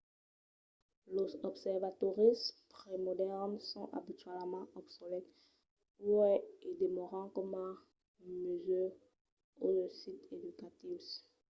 los observatòris premodèrns son abitualament obsolèts uèi e demòran coma musèus o de sits educatius